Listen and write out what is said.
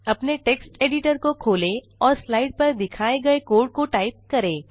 अपने text editor को खोलें और स्लाइड पर दिखाए गए कोड को टाइप करें